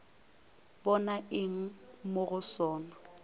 bona eng mo go sona